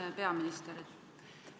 Hea peaminister!